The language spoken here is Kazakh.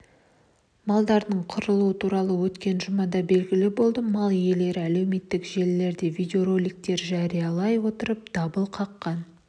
малдардың қырылуы туралы өткен жұмада белгілі болды мал иелері әлеуметтік желілерде видеороликтер жариялай отырып дабыл қаққан